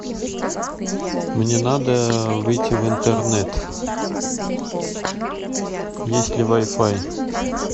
мне надо выйти в интернет есть ли вай фай